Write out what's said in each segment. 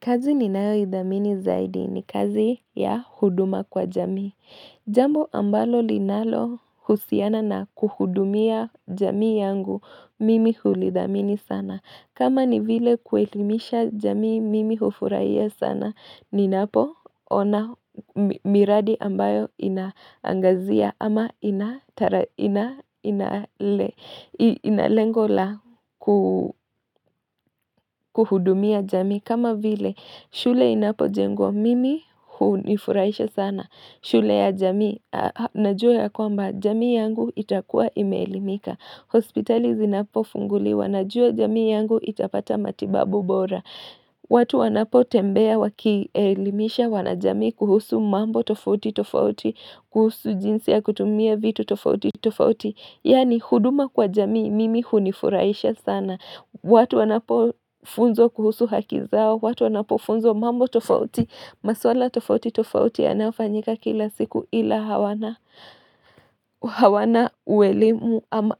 Kazi ni nayo idhamini zaidi ni kazi ya huduma kwa jamii. Jambo ambalo linalo husiana na kuhudumia jami yangu, mimi hulidhamini sana. Kama ni vile kuelimisha jamii mimi hufurahia sana, ni napo ona miradi ambayo inangazia ama inalengola kuhudumia jami. Kama vile shule inapojengwa mimi hujifurahisha sana shule ya jamii najua ya kwamba jamii yangu itakuwa ime elimika hospitali zinapo funguliwa najua jamii yangu itapata matibabu bora watu wanapo tembea waki elimisha wanajamii kuhusu mambo tofauti tofauti kuhusu jinsi ya kutumia vitu tofauti tofauti Yaani huduma kwa jamii mimi hunifuraisha sana watu wanapofunzwa kuhusu haki zao, watu wanapofunzwa mambo tofauti, maswala tofauti tofauti yanayofanyika kila siku ila hawana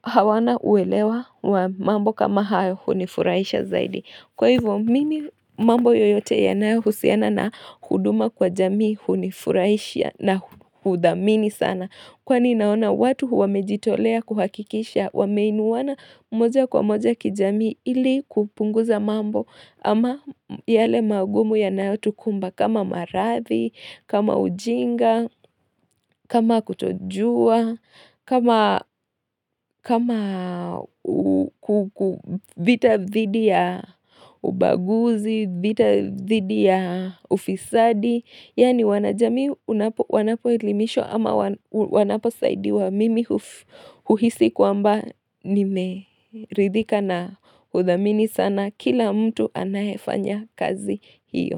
hawana uelewa wa mambo kama hayo hunifurahisha zaidi. Kwa hivyo, mimi mambo yoyote yanayo husiana na huduma kwa jamii hunifurahisha na hudhamini sana. Kwani naona watu wamejitolea kuhakikisha, wameinuana moja kwa moja kijamii ili kupunguza mambo ama yale magumu yanayo tukumba. Kama maradhi, kama ujinga, kama kutojua, kama vita dhidi ya ubaguzi, vita dhidi ya ufisadi Yaani wanajamii wanapo elimishwa ama wanapo saidiwa mimi huhisi kwamba nime ridhika na udhamini sana Kila mtu anayeifanya kazi hiyo.